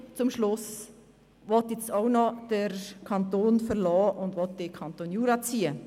Zum Schluss will nun auch noch Moutier den Kanton verlassen und in den Kanton Jura ziehen.